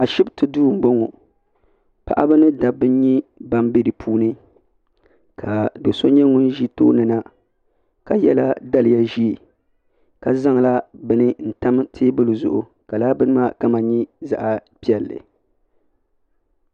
Ashipti duu m boŋɔ paɣaba ni dabba m be dipuuni ka bɛ so nyɛ ŋun ʒi tooni na ka yela daliya ʒee ka zaŋla bini n tam teebuli zuɣu ka lala bini maa kama nyɛ zaɣa piɛlli.